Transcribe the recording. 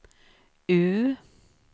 U